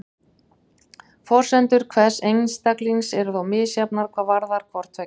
Forsendur hvers einstaklings eru þó misjafnar hvað varðar hvort tveggja.